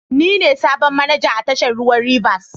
Ni ne sabon manaja a tashar ruwan Rivers.